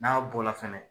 N'a bɔla fɛnɛ